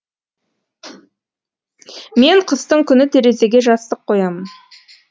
мен қыстың күні терезеге жастық қоямын